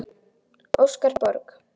Óskar Borg.